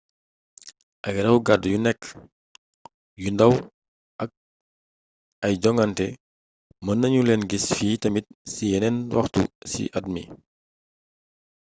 ay raw gaddu yu nekk yu ndaw ak ay jongante mën nanu leena gis fii tamit ci yeneen waxtu ci at mi